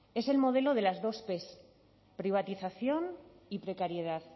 es el modelo de las dos p privatización y precariedad